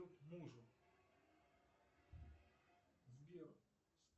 мужу сбер